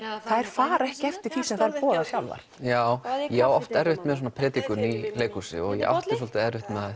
fara ekki eftir því sem þær boða sjálfar já ég á oft erfitt með svona predikun í leikhúsi og ég átti svolítið erfitt með það